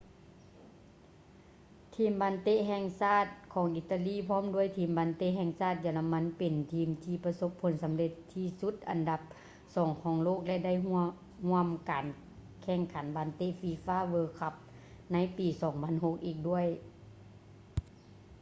ທີມບານເຕະແຫ່ງຊາດຂອງອີຕາລີ ພ້ອມດ້ວຍທີມບານເຕະແຫ່ງຊາດເຢຍລະມັນເປັນທີມທີ່ປະສົບຜົນສຳເລັດທີ່ສຸດອັນດັບສອງຂອງໂລກ ແລະ ໄດ້ເຂົ້າຮ່ວມການແຂ່ງຂັນບານເຕະ fifa world cup ໃນປີ 2006ອີກດ້ວຍ